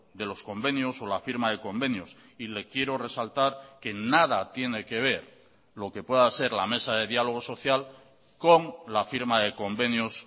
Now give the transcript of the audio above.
de los convenios o la firma de convenios y le quiero resaltar que nada tiene que ver lo que pueda ser la mesa de diálogo social con la firma de convenios